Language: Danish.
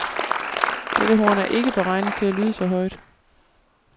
Det horn er ikke beregnet til at lyde så højt.